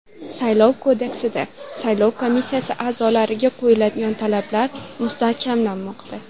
Saylov kodeksida saylov komissiyasi a’zolariga qo‘yiladigan talablar mustahkamlanmoqda.